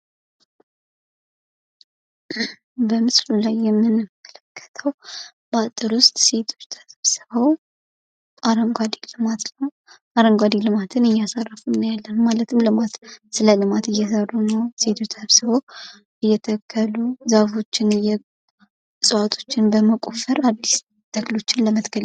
በምስሉ ላይ የምንመለክተው በአጥር ውስጥ ሴቶች ተሰብስበው አረንጓዴ ልማትን እያስፋፉ እናያለን ማለት ነው። ስለልማት እየሰሩ ነው ሴቶች ተሰብስበው እየተከለኡ ዛፎችን፣ እጽዋቶችን በመቆፈር አዲስ ተክሎችን ለመትከል።